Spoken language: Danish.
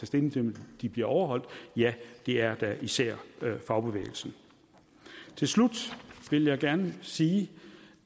stilling til om de bliver overholdt ja det er da især fagbevægelsen til slut vil jeg gerne sige